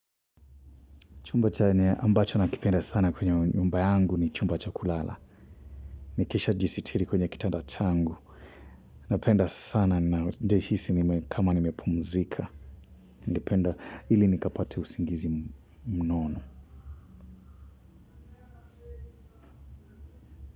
Chumba chenye ambacho nakipenda sana kwenye nyumba yangu ni chumba cha kulala. Nikishajisitiri kwenye kitanda changu. Napenda sana najihisi ni kama nimepumzika. Nalipenda ili nikapate usingizi mnono.